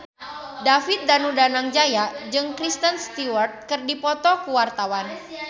David Danu Danangjaya jeung Kristen Stewart keur dipoto ku wartawan